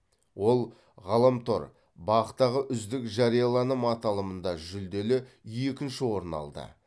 ол ғаламтор бақ тағы үздік жарияланым аталымында жүлделі екінші орын алды